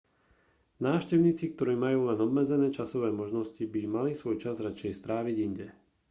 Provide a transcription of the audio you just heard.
návštevníci ktorí majú len obmedzené časové možnosti by mali svoj čas radšej stráviť inde